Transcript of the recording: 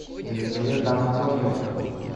елизавета анатольевна